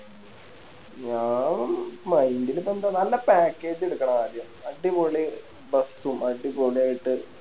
ഞാന് Mind ലിപ്പോ ന്താ നല്ല Package എടുക്കണം ആദ്യം അടിപൊളി Bus ഉം അടിപൊളിയായിട്ട്